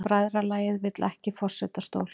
Bræðralagið vill ekki forsetastól